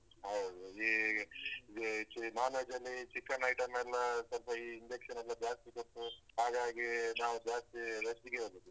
ಹೌದು ಈ ಈ ಚಿ~ non veg ಅಲ್ಲಿ chicken item. ಎಲ್ಲಾ ಸ್ವಲ್ಪ ಈ injection ಎಲ್ಲ ಜಾಸ್ತಿ ಕೊಟ್ಟು ಹಾಗಾಗಿ ನಾವ್ ಜಾಸ್ತಿ veg ಗೆ ಹೋಗದು.